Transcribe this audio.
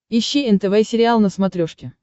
ищи нтв сериал на смотрешке